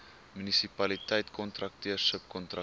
munisipaliteit kontrakteur subkontrakteur